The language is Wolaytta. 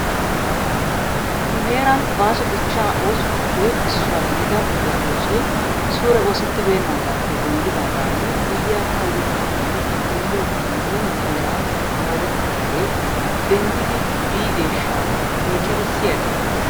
Nu heeran baaso dichchaa oosotuppe issuwa gidida ogiya oosoy suure oosettibeennaagaappe denddidaagaani guyyiya kayye kaamee ellelliiddi yiid nu heeran moorettidaagee denddidi biideeshsha oychchada siyadii?